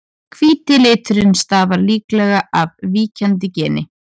Hvíti liturinn stafar líklega af víkjandi geni.